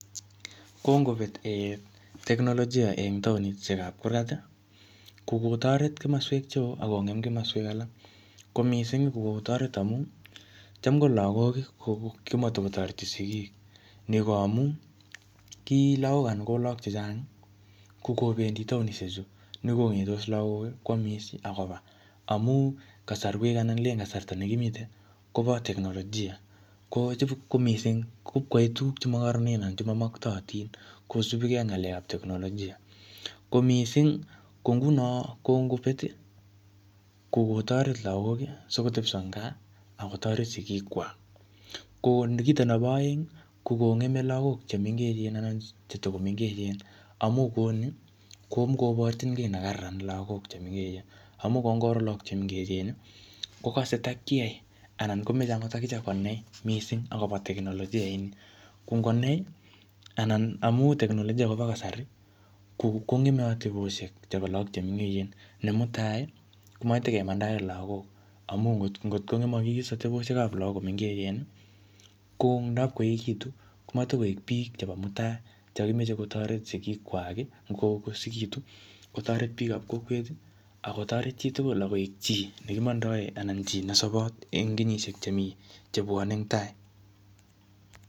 Kongobet ee teknolojia en taonishekab kurkat ii, kokotoret komoswek cheoo akong'em komoswek alak, ko missing kokotoret amun cham ko lagok kimotokotoreti sigik ,ni ko amun ki lagok anan lagok chechang kokobendi taonishechu nekong'etos lagok kwamis akobaa amun kasarwek anan kasarta nekimiten kobo teknolojia koo cham ko miising cham ipkoyoe tuguk chemokoronen anan tuguk chemaktootin kosipkee ak ng'alekab teknolojia ,ko missing ko ngunon kongobet ii kokotoret lagok sikotepso en gaa akotoret sigikwak, koo kita nebo aeng ko kong'em lagok chemengechen anan cheto komengechen amun koni komokoborchin kii nekararan lagok chemengechen amun ni kokngoro lagok chemengechen ii kokase takyai anan komachengot akichek konai missing akobo teknolojia inii kongonai anan amun teknolojia kobo kasari kong'eme atebosiek chebo lagok chemengechen amun ne mutai komokekonye kotakemandaen lagok amun ngot kong'emokis atebosiekab lagok koto komengechen ko ndap koekitu komotokek biik chebo mutai chekokimoche kotoret sigikwak ii yon ko koosekitu, kotoret biikab kokwet ako toret chitugul akoi chi nekimandaen ana koik chi nesobot en kenyisiek chebwonee eng tai .